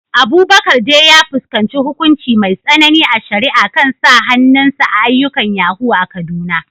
Abubakar dai ya fuskanci hukunci mai tsanani a shari’a kan sa hannun sa a ayyukan yahoo a Kaduna.